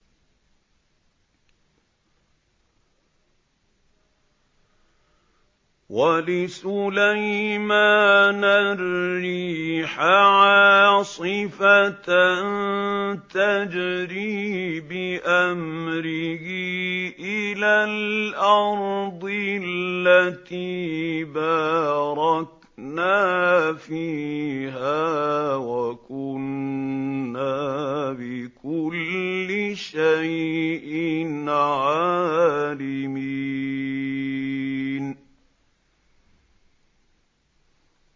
وَلِسُلَيْمَانَ الرِّيحَ عَاصِفَةً تَجْرِي بِأَمْرِهِ إِلَى الْأَرْضِ الَّتِي بَارَكْنَا فِيهَا ۚ وَكُنَّا بِكُلِّ شَيْءٍ عَالِمِينَ